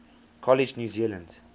college new zealand